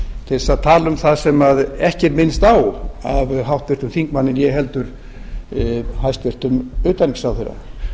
til að tala um það sem ekki er minnst á af háttvirtum þingmanni né heldur hæstvirts utanríkisráðherra